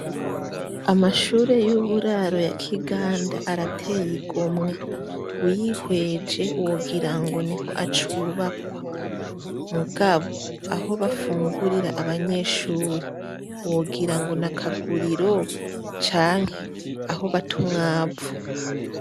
Amashure y'uburaro ya Kiganda arateye igomwe, uyihweje wogira ngo niho acubakwa mugabo aho bafungurira abanyeshure wogira ngo ni akaguriro canke aho bata umwavu.